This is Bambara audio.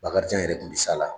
Bakarijan yɛrɛ tun bɛ sa la